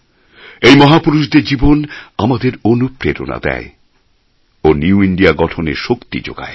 এই মহাপুরুষদের জীবন আমাদের অনুপ্রেরণা দেয় ও নিউ ইন্দিয়া গঠনের শক্তি যোগায়